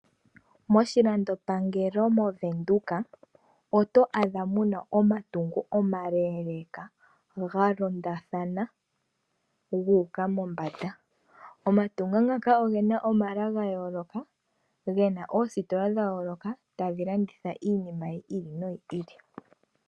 Moshilandopangelo moVenduka oto adha muna omatungo omaleeleeka ga londathana gu uka mombanda. Omatungo ngaka ogena omala ga yooloka, gena oositola dha yooloka tadhi landitha iinima yi ili noyi ili.